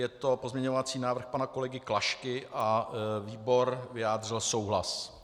Je to pozměňovací návrh pana kolegy Klašky a výbor vyjádřil souhlas.